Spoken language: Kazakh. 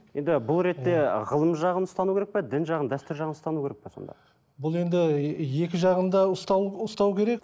енді бұл ретте ғылым жағын ұстану керек пе дін жағын дәстүр жағын ұстану керек пе сонда бұл енді екі жағын да ұстау ұстау керек